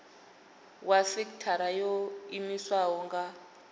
wa sekithara yo iimisaho nga